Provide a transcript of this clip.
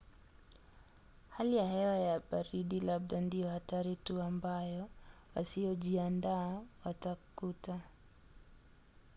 hali ya hewa ya baridi labda ndiyo hatari tu ambayo wasiyojiandaa watakuta